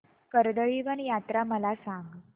कर्दळीवन यात्रा मला सांग